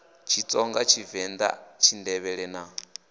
tshitsonga tshivend a tshindevhele na